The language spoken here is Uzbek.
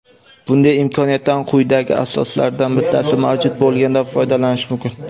Bunday imkoniyatdan quyidagi asoslardan bittasi mavjud bo‘lganda foydalanish mumkin:.